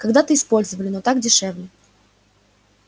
когда-то использовали но так дешевле